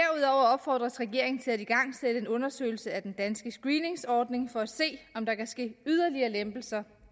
opfordres regeringen til at igangsætte en undersøgelse af den danske screeningsordning for at se om der kan ske en yderligere lempelse